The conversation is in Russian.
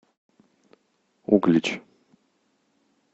углич